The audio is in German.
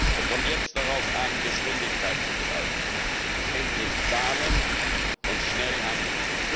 Es kommt jetzt darauf an, Geschwindigkeit zu zeigen, endlich zu zahlen und schnell zu handeln.